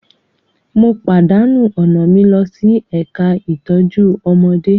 Mo pàdánù ọ̀nà mi lọ sí ẹ̀ka ìtọ́jú ọmọdé